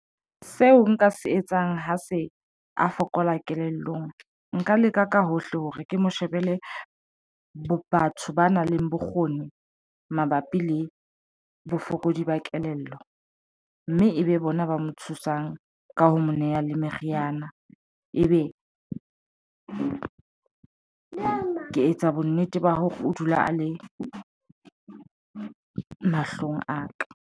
Seo nka se etsang ha se a fokola kelellong, nka leka ka hohle hore ke mo shebele batho ba nang le bokgoni mabapi le bofokodi ba kelello ng mme ebe bona ba mo thusang ka ho mo neha le meriana e be ke etsa bonnete ba hore o dula a le mahlong a ka.